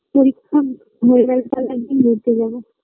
পরীক্ষা হয়ে গেলে তালে এক দিন ঘুরতে যাব